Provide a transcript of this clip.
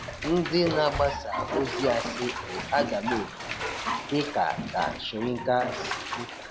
Ndị na-agbasa ozi asị bụ agamefu, dị ka ka Soyinka si kwu.